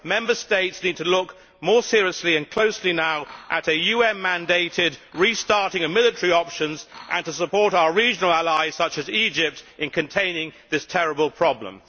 Member States need to look more seriously and closely now at a UN-mandated restarting of military options and to support our regional allies such as Egypt in containing this terrible problem.